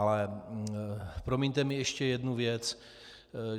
Ale promiňte mi - ještě jednu věc.